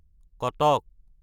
Cuttack